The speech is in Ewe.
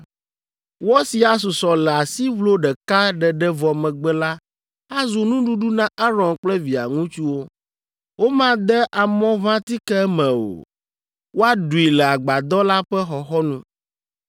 Wɔ si asusɔ le asiʋlo ɖeka ɖeɖe vɔ megbe la azu nuɖuɖu na Aron kple via ŋutsuwo. Womade amɔʋãtike eme o. Woaɖui le Agbadɔ la ƒe xɔxɔnu.